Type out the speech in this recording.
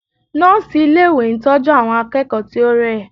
Nọ́ọ̀sì ilé ìwé ń tọ́jú àwọn akẹ́kọ̀ọ́ tí ó rẹ̀.